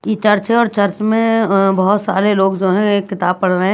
ये चर्च है और चर्च में ए ए बहुत सारे लोग जो हैं एक किताब पढ़ रहे हैं।